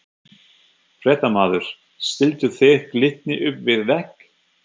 Fréttamaður: Stilltu þið Glitni upp við vegg?